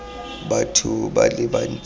batho ba le bantsi ba